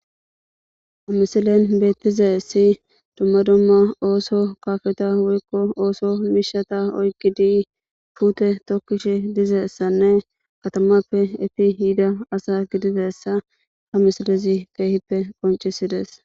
ha misilen beettizasi dumma dumma ooso kaafeta wuykko ooso miishata oykgi di puute tokkish dizessanne katamappe efi hiida asa gidifessa ha misilezi keehippe qoncisides